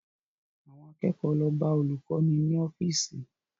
Àwọn akẹ́kọ̀ọ́ lọ bá olùkọ́ni ní ọ́fíìsì